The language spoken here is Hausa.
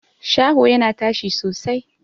Shaho yana tashi sosai.